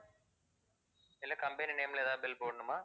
இல்ல company name ல எதாவது bill போடணுமா?